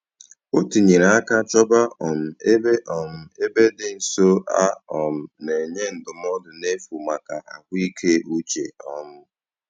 O tinyere aka chọba um ebe um ebe dị nso a um na-enye ndụmọdụ n'efu maka ahụ ike uche um